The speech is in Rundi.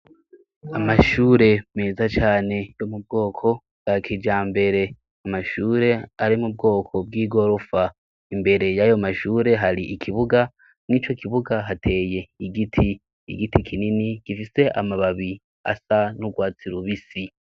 Amashure meza cane yo mu bwoko bwa kija mbere amashure ari mu bwoko bw'i gorofa imbere y'ayo mashure hari ikibuga nw'ico kibuga hateye igiti igiti kinini gifise amababi asa n'urwatsiraubisi.